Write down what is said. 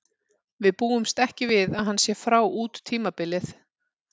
Við búumst ekki við að hann sé frá út tímabilið.